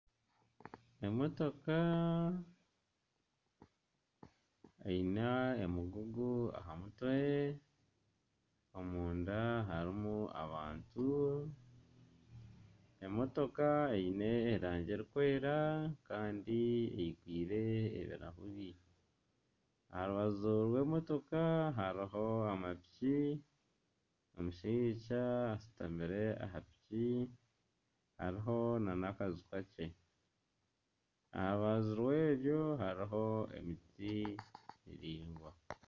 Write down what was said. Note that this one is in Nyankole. Emotoka eine omugugu aha mutwe omunda harimu abantu emotoka eine erangi erikwera kandi eyigwire ebirahure aha rubaju rw'emotoka hariho amapiki omushaija ashutamire aha piki hariho n'amaju makye aha rubaju rwebyo hariho emiti miraingwa